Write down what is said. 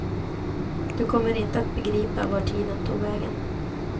Du kommer inte att begripa vart tiden tog vägen.